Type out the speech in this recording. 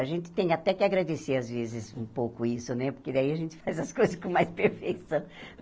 A gente tem até que agradecer às vezes um pouco isso né, porque daí a gente faz as coisas com mais perfeição.